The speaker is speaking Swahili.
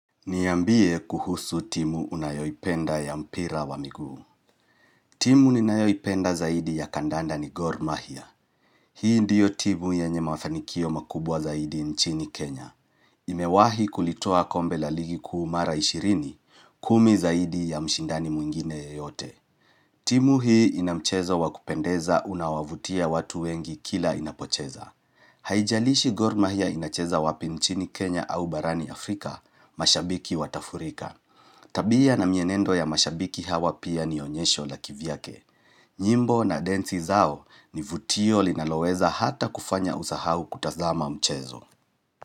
Niambie kuhusu timu unayoipenda ya mpira wa miguu. Timu ninayoipenda zaidi ya kadanda ni Gor Mahia. Hii ndiyo timu yenye mafanikio makubwa zaidi nchini Kenya. Imewahi kulitoa kombe la ligi kuu mara ishirini kumi zaidi ya mshindani mwingine ya yote. Timu hii ina mchezo wa kupendeza unawavutia watu wengi kila inapocheza. Haijalishi Gor Mahia inacheza wapi nchini Kenya au barani Afrika mashabiki watafurika. Tabia na mienendo ya mashabiki hawa pia ni onyesho la kivyake. Nyimbo na densi zao ni vutio linaloweza hata kufanya usahau kutazama mchezo.